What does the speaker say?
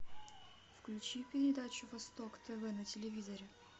включи передачу восток тв на телевизоре